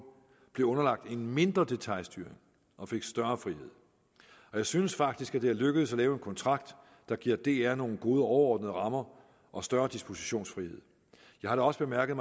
blev underlagt en mindre detailstyring og fik større frihed og jeg synes faktisk det er lykkedes at lave en kontrakt der giver dr nogle gode overordnede rammer og større dispositionsfrihed jeg har da også bemærket